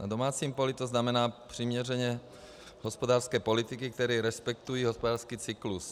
Na domácím poli to znamená přiměřené hospodářské politiky, které respektují hospodářský cyklus.